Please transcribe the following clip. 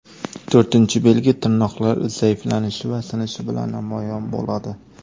To‘rtinchi belgi tirnoqlar zaiflanishi va sinishi bilan namoyon bo‘ladi.